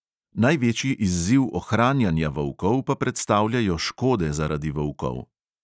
Največji izziv ohranjanja volkov pa predstavljajo škode zaradi volkov.